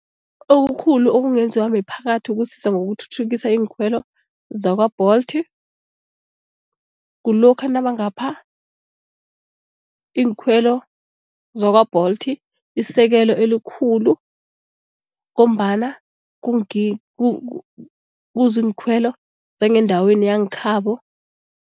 Okukhulu okungenziwa miphakathi ukusiza ngokuthuthukisa iinkhwelo zakwa-Bolt. Kulokha nabangapha iinkhwelo zakwa-Bolt isekelo elikhulu ngombana kuziinkhwelo zangendaweni yangekhabo.